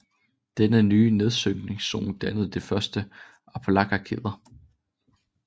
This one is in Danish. Denne nye nedsynkningszone dannede de første Appalacherkæder